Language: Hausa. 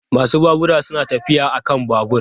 Masu babura suna tafiya a kan babur.